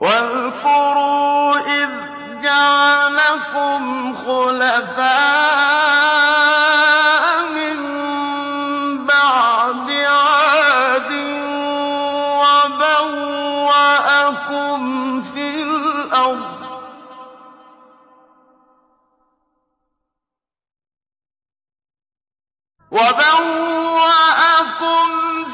وَاذْكُرُوا إِذْ جَعَلَكُمْ خُلَفَاءَ مِن بَعْدِ عَادٍ وَبَوَّأَكُمْ